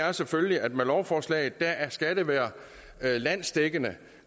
er selvfølgelig at med lovforslaget skal det være landsdækkende